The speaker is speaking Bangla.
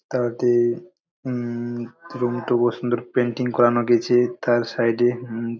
তাতে উম কত সুন্দর পেইন্টিং করানো গেছে তার সাইড -এ ।